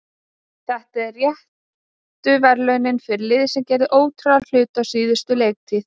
Þetta eru réttu verðlaunin fyrir lið sem gerði ótrúlega hluti á síðustu leiktíð.